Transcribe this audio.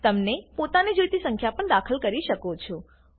તમે પોતાને જોઈતી સંખ્યા પણ દાખલ કરી શકો છો